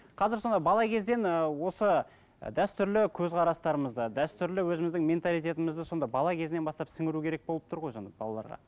қазір сонда бала кезден ы осы ы дәстүрлі көзқарастарымызды дәстүрлі өзіміздің менталитетімізді сонда бала кезінен бастап сіңіру керек болып тұр ғой сонда балаларға